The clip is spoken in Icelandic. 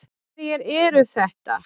Hverjir eru þetta?